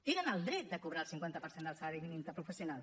tenen el dret de cobrar el cinquanta per cent del salari mínim interprofessional